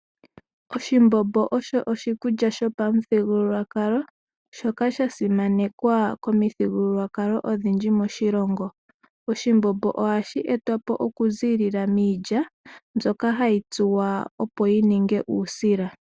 Oshimbombo osho oshikulya shopamuthigululwakalo shoka shaasimanekwa komithigululwakalo odhindji moshilongo. Oshimbombo ohashi etwapo oku zilila miilya myoka hayi tsuwa opo yi ninge uusila.